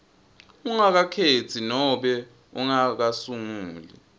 ungakakhetsi nobe ungakasunguli